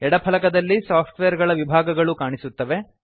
ಎಡ ಫಲಕದಲ್ಲಿ ಸಾಫ್ಟ್ವೇರ್ ಗಳ ವಿಭಾಗಗಳು ಕಾಣಿಸುತ್ತವೆ